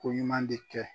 Ko ɲuman de kɛ